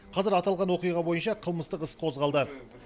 қазір аталған оқиға бойынша қылмыстық іс қозғалды